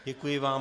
Děkuji vám.